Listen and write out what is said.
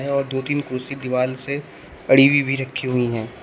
और दो तीन कुर्सी दीवाल से पड़ी हुई रखी भी हुई है।